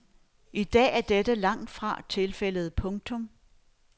I dag er dette langtfra tilfældet. punktum